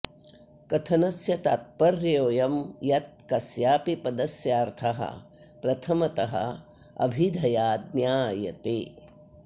कथनस्य तात्पर्योऽयं यत् कस्यापि पदस्यार्थः प्रथमतः अभिधया ज्ञायते